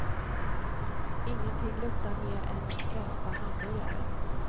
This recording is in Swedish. Ingenting luktar mer än frästa hamburgare.